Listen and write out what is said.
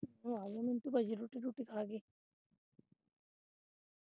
ਤੁਸੀਂ ਆ ਜਾਇਉ ਮਿੰਟੂ ਭਾਜੀ ਨੂੰ ਰੋਟੀ ਖਵਾ ਕੇ